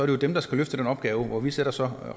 jo dem der skal løfte den opgave og vi sætter så